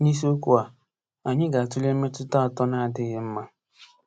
N'isiokwu a, anyị ga-atụle mmetụta atọ na-adịghị mma.